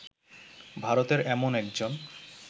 ভারতের এমন একজন